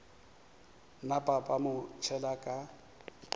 napa ba mo tšhela ka